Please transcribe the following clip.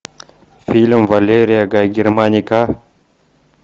фильм валерия гай германика